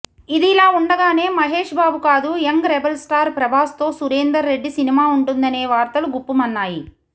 ఇదిలా ఉండగానే మహేష్ బాబు కాదు యంగ్ రెబల్ స్టార్ ప్రభాస్తో సురేందర్ రెడ్డి సినిమా ఉంటుందనే వార్తలు గుప్పుమన్నాయి